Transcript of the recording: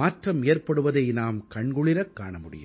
மாற்றம் ஏற்படுவதை நாம் கண்குளிரக் காண முடியும்